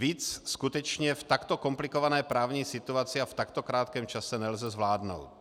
Víc skutečně v takto komplikované právní situaci a v takto krátkém čase nelze zvládnout.